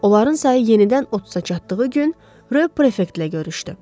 Onların sayı yenidən 30-a çatdığı gün, Ro prefektlə görüşdü.